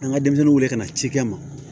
An ka denmisɛnninw wele ka na cikɛ ma